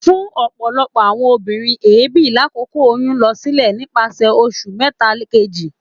Fun ọpọlọpọ awọn obinrin, eebi lakoko oyun n lọ silẹ nipasẹ oṣu mẹta keji.